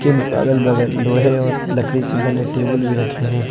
इन अगल बगल लोहै और लकड़ी से बने टेबल भी रखे हैं।